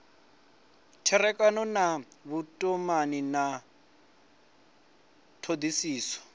tserekano na vhutumani ya thodisiso